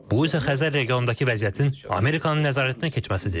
Bu isə Xəzər regionundakı vəziyyətin Amerikanın nəzarətinə keçməsidir.